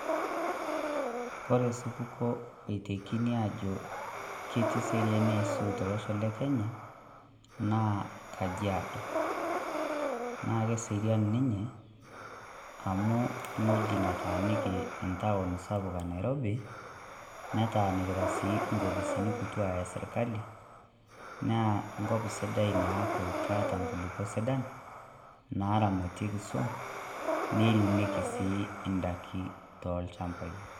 Kore osupukuo oitekini aajo ketii eseriani aisul tolosho lekenya naa Kajiado. Naa keserian ninye, amu weuji nataaniki town sapuk enairobi netaanikita sii Enkopisini kituak esirkali naa Enkop Sidai Ina kop keeta Inkulupuok sidan, naaramatieki suam neiremieki sii indaiki tolchampai.